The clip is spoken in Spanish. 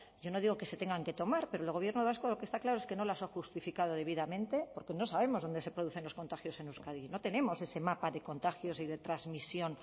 yo no digo que se tengan que tomar pero el gobierno vasco lo que está claro es que no las ha justificado debidamente porque no sabemos dónde se producen los contagios en euskadi no tenemos ese mapa de contagios y de transmisión